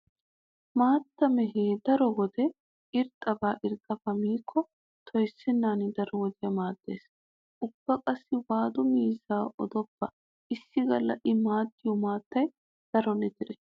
Maattaa mehe daro wode irxxaba irxxabaa miikko toyssennan daro wodiya maaxxes. Ubba qaasi waadu miizzaaba odoppa issi galla i maaxxiyo maattay daro litire.